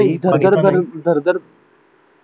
नाही इथं जर झरझर झरझर